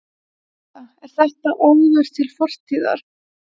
Linda: Er þetta óður til fortíðar?